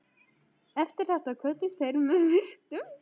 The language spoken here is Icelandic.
Eftir þetta kvöddust þeir með virktum.